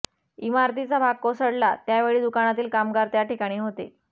इमारतीचा भाग कोसळला त्यावेळी दुकानातील कामगार त्या ठिकाणी होते